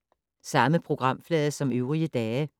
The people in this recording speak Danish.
Samme programflade som øvrige dage